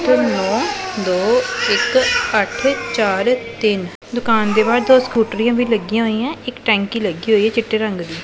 ਨੋਂ ਦੋ ਇੱਕ ਅੱਠ ਚਾਰ ਤਿੰਨ ਦੁਕਾਨ ਦੇ ਬਾਹਰ ਦੋ ਸਕੂਟ੍ਰੀਆਂ ਵੀ ਲੱਗਿਆਂ ਹੋਈ ਆਂ ਇੱਕ ਟੈਂਕੀ ਲੱਗੀ ਹੋਈ ਹੈ ਚਿੱਟੇ ਰੰਗ ਦੀ।